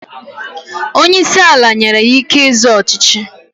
Onye isi ala nyere ya ike ịzọ ọchịchị.